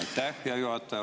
Aitäh, hea juhataja!